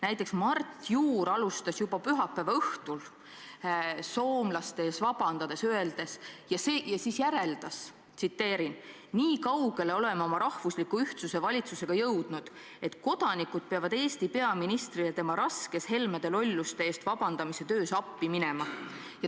Näiteks alustas Mart Juur juba pühapäeva õhtul soomlastele vabanduste esitamist ja siis järeldas, et me oleme oma rahvusliku ühtsuse valitsusega jõudnud nii kaugele, et kodanikud peavad Eesti peaministrile tema raskes Helmede lolluste eest vabandust palumise töös appi minema.